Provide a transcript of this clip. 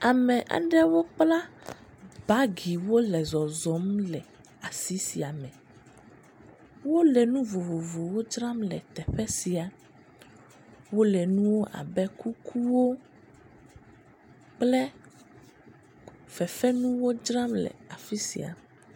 Ame aɖewo kpla bagi wole zɔzɔm le asi sia me. Wole nu vovovowo dzram le teƒe sia. Wole nuwo abe kukuwo, kple fefe nuwo dzram le afi sia.